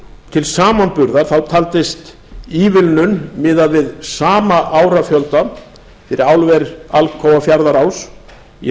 til samanburðar taldist ívilnun miðað við sama árafjölda fyrir álver alcoa fjarðaál í